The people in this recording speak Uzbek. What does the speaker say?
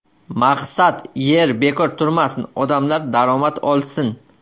Maqsad – yer bekor turmasin, odamlar daromad olsin.